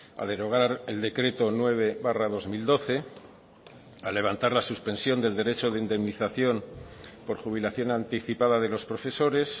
a derogar el decreto nueve barra dos mil doce a levantar la suspensión del derecho de indemnización por jubilación anticipada de los profesores